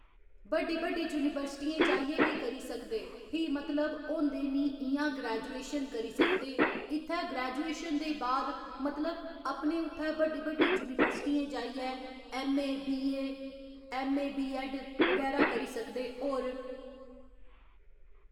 बड्डी बड्डी यूनिवर्सटियें जाइयै बी करी सकदे फ्ही मतलब होंदे नि इ'यां ग्रैजुएशन करी सकदे इत्थै ग्रैजुएशन दे बाद मतलब अपने उत्थै बड्डी बड्डी यूनिवर्सटियें जाइयै MA BA MA B Ed. बगैरा करी सकदे होर